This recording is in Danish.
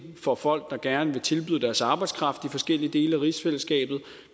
for folk der gerne vil tilbyde deres arbejdskraft i forskellige dele af rigsfællesskabet